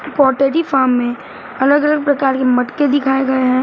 Pottery form में अलग अलग प्रकार के मटके दिखाए गए हैं।